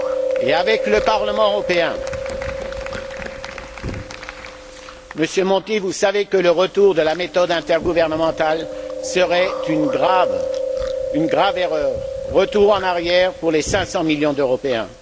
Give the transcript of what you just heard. Comme le Parlement européen, Monsieur Monti, vous savez que le retour de la méthode intergouvernementale serait une grave erreur, un retour en arrière pour les cinq cent millions d'Européens.